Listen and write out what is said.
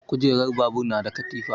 Kujerar babur na da katifa.